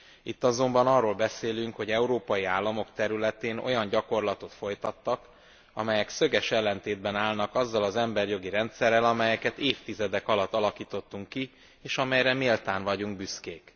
Itt azonban arról beszélünk, hogy európai államok területén olyan gyakorlatot folytattak, amelyek szöges ellentétben állnak azzal az emberi jogi rendszerrel, amelyet évtizedek alatt alakítottunk ki, és amelyre méltán vagyunk büszkék.